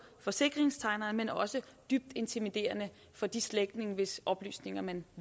forsikringstegneren men også dybt intimiderende for de slægtninge hvis oplysninger man